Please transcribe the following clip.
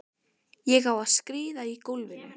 Á ég að skríða í gólfinu?